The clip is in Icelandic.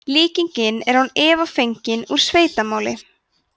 líkingin er án efa fengin úr sveitamáli